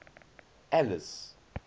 alice